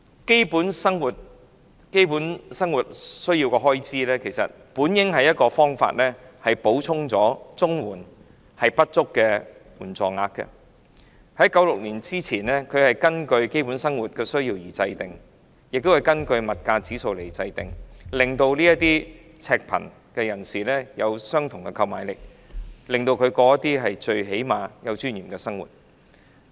基本生活需要的開支本應是補充綜援不足的援助額，在1996年之前，這是根據基本生活需要和物價指數來制訂，讓赤貧人士維持相同購買力，至少能有尊嚴地生活。